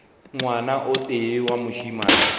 ngwana o tee wa mošemane